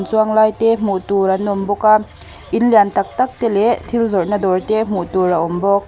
chuanglai te hmuh tur an awm bawk a inlian tak tak te leh thil zawrhna te hmuh tur a awm bawk.